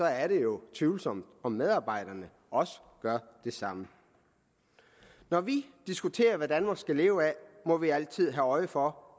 er det jo tvivlsomt om medarbejderne også gør det samme når vi diskuterer hvad danmark skal leve af må vi altid have øje for